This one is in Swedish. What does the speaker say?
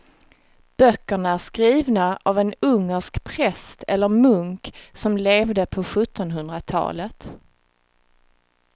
Böckerna är skrivna av en ungersk präst eller munk som levde på sjuttonhundratalet.